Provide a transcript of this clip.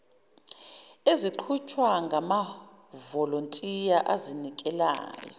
eziqhutshwa ngamavolontiya azinikelayo